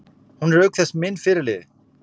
Hún er auk þess minn fyrirliði.